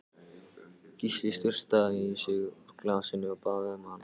Gísli sturtaði í sig úr glasinu, og bað um annað.